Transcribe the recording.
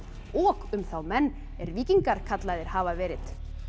og um þá menn er víkingar kallaðir hafa verið